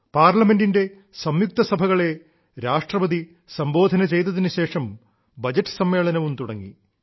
പാർലമെന്റിന്റെ സംയുക്ത സഭകളെ രാഷ്ട്രപതി സംബോധന ചെയ്തതിനുശേഷം ബജറ്റ് സമ്മേളനവും തുടങ്ങി